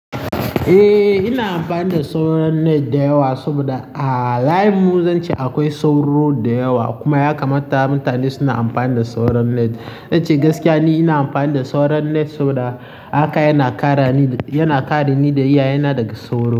Eh, ina amfani da sauran net da yawa saboda a layinmu zan ce akwai sauro da yawa kuma ya kamata mutane suna amfani da sauran net. Zan ce gaskiya ne ina amfani da sauran net saboda haka yana kare ni, yana kare ni da iyayena daga sauro.